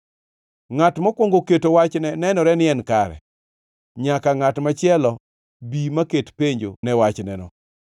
Ngʼat mokwongo keto wachne nenore ni en kare, nyaka ngʼat machielo bi maket penjo ne wachneno.